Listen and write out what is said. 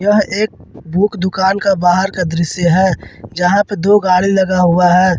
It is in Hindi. यह एक बुक दुकान का बाहर का दृश्य है जहां पे दो गाड़ी लगा हुआ है।